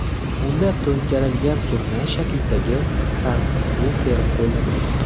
Unda to‘nkarilgan surnay shaklidagi sabvufer qo‘llanilgan.